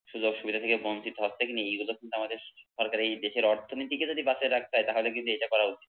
সুযোগ সুবিধা থেকে বঞ্চিত হচ্ছে কি না এ গুলো কিন্তু আমাদের সরকার এ দেশের অর্থনীতিকে যদি বাঁচায় রাখতে হয় তাহলে কিন্তু এটা করা উচিৎ